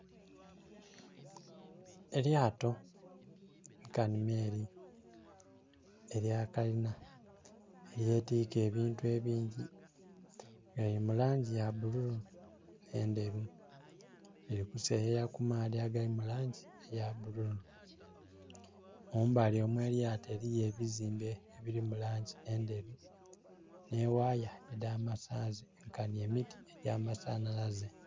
Elyato nkanhi meeri elya kalina, elyetiika ebintu ebingi, nga lili mu langi ya bululu nh'endheru. Lili kuseeyeya ku maadhi agali mu langi eya bululu. Mumbali omw'elyato eliyo ebizimbe ebili mu langi endheru. Nh'ewaaya edh'amasanhalaze nkanhi emiti egy'amasanhalaze.